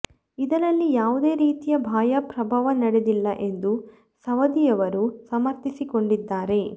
ಇದರಲ್ಲಿ ಯಾವುದೇ ರೀತಿಯ ಬಾಹ್ಯ ಪ್ರಭಾವ ನಡೆದಿಲ್ಲ ಎಂದು ಸವದಿಯವರು ಸಮರ್ಥಿಸಿಕೊಂಡಿದ್ದಾರೆ